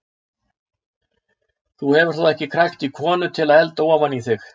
Þú hefur þó ekki krækt í konu til að elda ofan í þig?